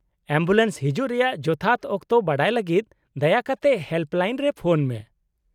Ambulance ᱦᱤᱡᱩᱜ ᱨᱮᱭᱟᱜ ᱡᱚᱛᱷᱟᱛ ᱚᱠᱛᱚ ᱵᱟᱰᱟᱭ ᱞᱟᱹᱜᱤᱫ ᱫᱟᱭᱟ ᱠᱟᱛᱮ ᱦᱮᱞᱯᱞᱟᱭᱤᱱ ᱨᱮ ᱯᱷᱚᱱ ᱢᱮ ᱾